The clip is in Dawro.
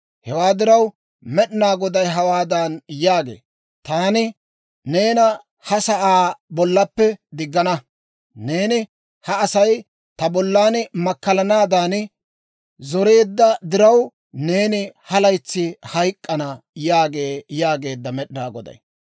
Hewaa diraw, Med'inaa Goday hawaadan yaagee; ‹Taani neena ha sa'aa bollaappe diggana. Neeni ha Asay ta bollan makkalanaadan zoreedda diraw, neeni ha laytsi hayk'k'ana› yaagee» yaageedda Med'inaa Goday.